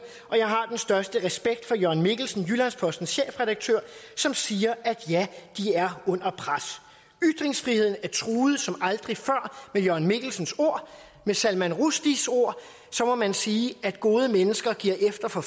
og jeg har den største respekt for jørn mikkelsen jyllands postens chefredaktør som siger at ja de er under pres ytringsfriheden er truet som aldrig før med jørn mikkelsens ord med salman rushdies ord må man sige at gode mennesker giver efter for